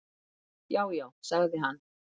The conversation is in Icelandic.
"""Já, já sagði hann."""